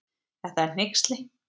Þetta er hneyksli